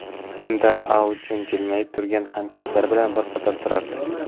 Unda Aun jilmayib turgan hamkasblari bilan bir qatorda turardi.